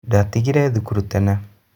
Ndatigire thukuru tene.